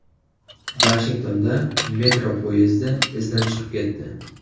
Vashingtonda metro poyezdi izdan chiqib ketdi.